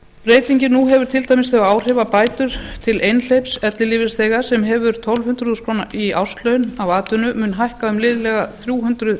breytingin nú hefur til dæmis þau áhrif að bætur til einhleyps ellilífeyrisþega sem hefur tólf hundruð þúsund krónur í árslaun af atvinnu mun hækka um liðlega þrjú hundruð